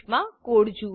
મા કોડ જુઓ